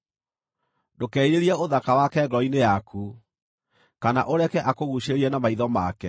Ndũkerirĩrie ũthaka wake ngoro-inĩ yaku, kana ũreke akũguucĩrĩrie na maitho make,